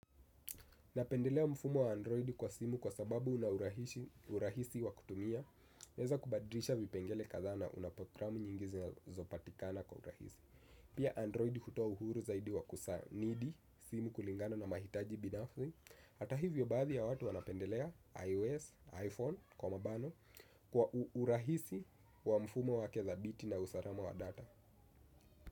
Napendelea mfumo wa Android kwa simu kwa sababu unaurahisi wa kutumia. Naweza kubadilisha vipengele kadhaa na unaprogramu nyingizi na zopatikana kwa urahisi. Pia Android hutoa uhuru zaidi wa kusanidi simu kulingana na mahitaji binafu. Hata hivyo baadhi ya watu wanapendelea iOS, iPhone, kwa urahisi wa mfumo wake dhabiti na usalama wa data.